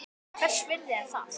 Hvers virði er það?